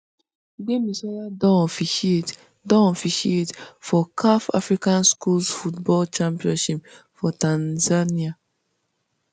gbemisola don officiate don officiate for caf african skuls football championship for tanzania